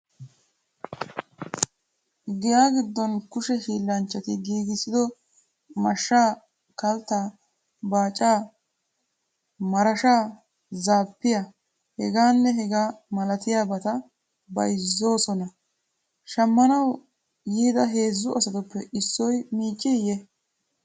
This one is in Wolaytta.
Giya giddon kushe hiillanchchati giigissido mashshaa, kalttaa, baacaa, marashaa, zaappiya, hegaanne hegaa malatiyabata bayizzoosona. Shammanawu yooda heezzu asatuppe issoy miicciiyye?